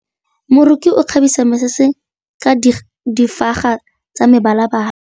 Moroki o kgabisa mesese ka difaga tsa mebalabala.